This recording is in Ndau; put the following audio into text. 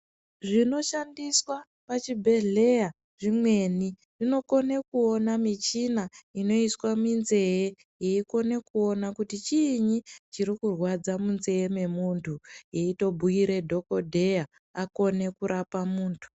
Zvinoshandiswa pachibhedhleya zvimweni, zvinokone kuwona michina inoiswa minzeye yekone kuona kuti chini chirikurwadza munzeye yemuntu, yeyitobuyira dhokodheya akone kurapa muntu.